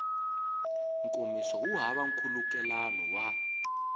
nkomiso wu hava nkhulukelano wa